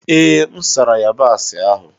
Ee, M sara yabasị ahụ.